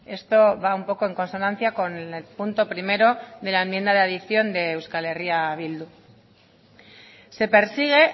esto va un poco en consonancia con el punto primero de la enmienda de adición de euskal herria bildu se persigue